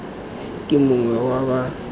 ke mongwe wa ba ba